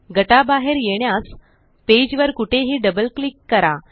गटा बाहेर येण्यास पेज वर कुठेही डबल क्लिक करा